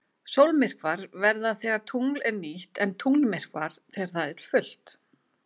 Sólmyrkvar verða þegar tungl er nýtt en tunglmyrkvar þegar það er fullt.